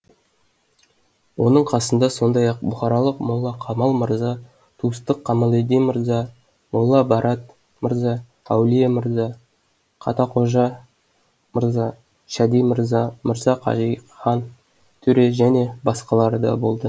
оның қасында сондай ақ бұхаралық молла камал мырза тустық камалиддин мырза молла барат мырза әулие мырза каттақожа мырза шади мырза мырза кашиқхан төре және басқалар да болды